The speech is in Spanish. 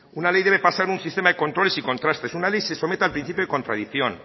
una ley debe pasar un sistema de controles y contrastes una ley se somete al principio de contradicción